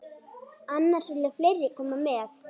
Annars vilja fleiri koma með.